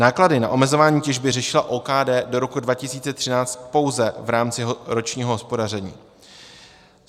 Náklady na omezování těžby řešila OKD do roku 2013 pouze v rámci ročního hospodaření.